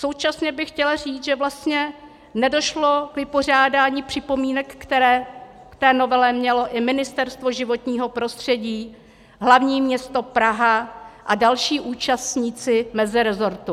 Současně bych chtěla říct, že vlastně nedošlo k vypořádání připomínek, které k té novele mělo i Ministerstvo životního prostředí, Hlavní město Praha a další účastníci mezirezortu.